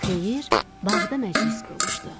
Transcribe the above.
Xeyir bağda məclis qurmuşdu.